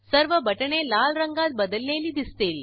सर्व बटणे लाल रंगात बदललेली दिसतील